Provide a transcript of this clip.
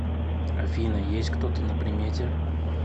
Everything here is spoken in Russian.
афина есть кто то на примете